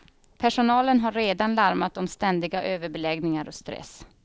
Personalen har redan larmat om ständiga överbeläggningar och stress.